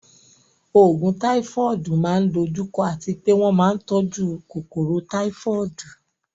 Àwọn oògùn Táífọ́ọ̀dù máa ń dojú kọ àti pé wọ́n máa ń tọ́jú kòkòrò Táífọ́ọ̀dù